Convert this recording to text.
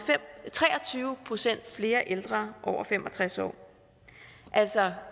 tre og tyve procent flere ældre over fem og tres år altså